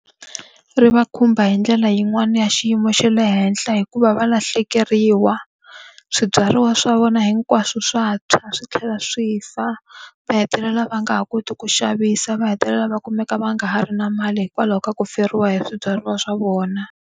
Ri va khumba hi ndlela yin'wani ya xiyimo xa le henhla hikuva va lahlekeriwa. Swibyariwa swa vona hinkwaswo swa tshwa swi tlhela swi fa. Va hetelela va nga ha koti ku xavisa va hetelela va kumeka va nga ha ri na mali hikwalaho ka ku feriwa hi swibyariwa swa vona.